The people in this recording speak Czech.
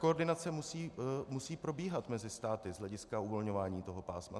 Koordinace musí probíhat mezi státy z hlediska uvolňování toho pásma.